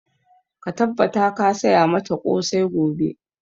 Ka tabbata ka saya mata ƙosai gobe!